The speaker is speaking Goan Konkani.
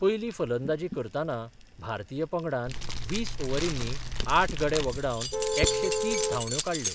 पयली फलंदाजी करताना भारतीय पंगडान वीस ओव्हरीनी आठ गडे व्हगडावन एकशे तीस धावंड्यो काडल्यो.